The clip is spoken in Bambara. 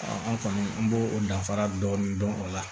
an kɔni an b'o o danfara dɔɔni dɔn o la